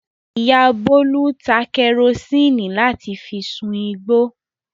Ìyá Bólú ta kẹrósíínì láti fi sun igbó.